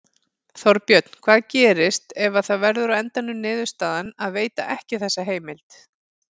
Þorbjörn: Hvað gerist ef að það verður á endanum niðurstaðan að veita ekki þessa heimild?